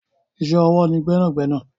Iṣẹ́ ọwọ́ ni gbẹ́nàgbẹ́nà.